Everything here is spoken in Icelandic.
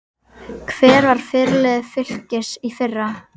Hver var fyrirliði Fylkis í fyrra?